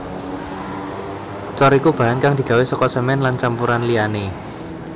Cor iku bahan kang digawé saka semèn lan campuran liyané